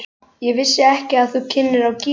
Ég vissi ekki að þú kynnir á gítar.